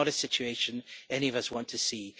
This is not a situation any of us want to see.